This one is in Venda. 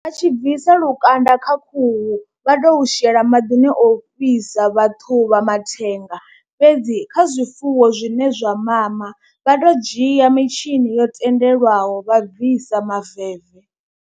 A tshi bvisa lukanda kha khuhu vha tou shela maḓini ofhisa vhathu vha mathenga fhedzi kha zwifuwo zwine zwa mama vha tou dzhia mitshini yo tendelwaho vha bvisa maveve.